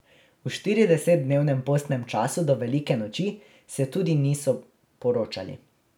V štiridesetdnevnem postnem času do velike noči se tudi niso poročali.